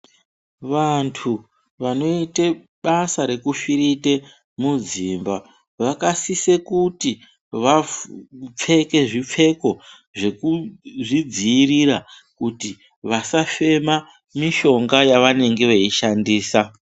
Vantu vanoite basa rekufirite mudzimba vakasise kuti vapfeke zvipfeko zvekuzvidziirira kuti vasafema mishonga yavanenge veishandisa.